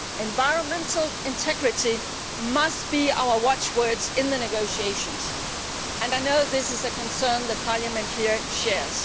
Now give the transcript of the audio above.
Environmental integrity must be our watchwords in the negotiations and I know this is a concern Parliament shares.